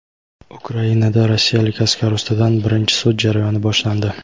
Ukrainada rossiyalik askar ustidan birinchi sud jarayoni boshlandi.